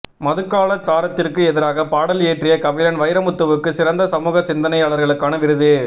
மதுக்கலாச்சாரத்திற்கு எதிராக பாடல் இயற்றிய கபிலன் வைரமுத்துவுக்கு சிறந்த சமூக சிந்தனையாளருக்கான விருது